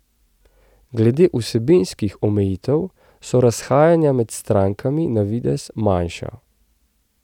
Glede vsebinskih omejitev so razhajanja med strankami na videz manjša.